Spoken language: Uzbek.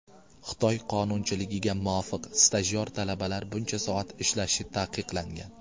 Xitoy qonunchiligiga muvofiq, stajyor talabalar buncha soat ishlashi taqiqlangan.